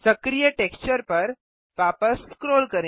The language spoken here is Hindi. सक्रिय टेक्सचर पर वापस स्क्रॉल करें